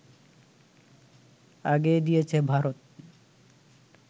আগেই দিয়েছে ভারত